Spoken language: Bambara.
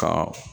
Ka